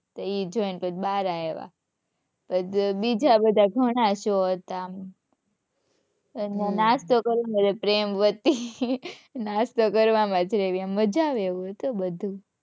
તો ઈ જોઈ ને પછી બહાર આવ્યા. બજા બધા ઘણા show હતા આમ. નાસ્તો કરવામાં પ્રેમવતી. નાસ્તો કરવામાં મજા આવે એવું હતું બધુ.